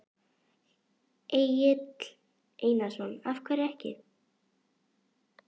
Egill Einarsson: Af hverju ekki?